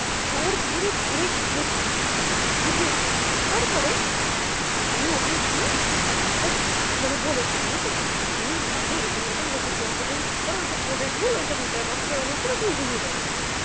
জোর করে ঘরে গিয়েছি ঢুকেছি ঢোকার পরে আমি ওকে গিয়ে কথাটা মানে বলেছি জানতো আমি না বাইরে এরকম এরকম দেখেছি ও আমাকে বলল চুপ করো ও সব ভোরের ভুল ওসব meter box ওরকম হচ্ছিলো তুমি ঘুমিয়ে পড়ো